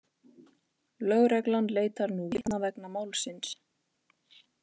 Lögreglan leitar nú vitna vegna málsins